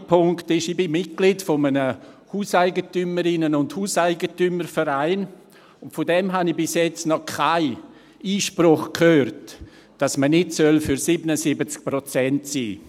Der zweite Punkt ist: Ich bin Mitglied eines Hauseigentümerinnen- und Hauseigentümervereins, und von diesem habe ich bisher noch keinen Einspruch gehört, dass man nicht für 77 Prozent sein sollte.